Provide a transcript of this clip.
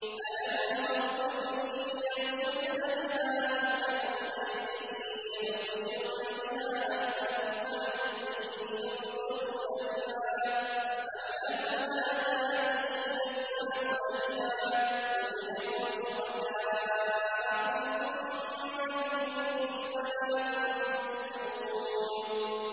أَلَهُمْ أَرْجُلٌ يَمْشُونَ بِهَا ۖ أَمْ لَهُمْ أَيْدٍ يَبْطِشُونَ بِهَا ۖ أَمْ لَهُمْ أَعْيُنٌ يُبْصِرُونَ بِهَا ۖ أَمْ لَهُمْ آذَانٌ يَسْمَعُونَ بِهَا ۗ قُلِ ادْعُوا شُرَكَاءَكُمْ ثُمَّ كِيدُونِ فَلَا تُنظِرُونِ